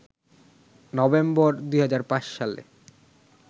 November ২০০৫ সালে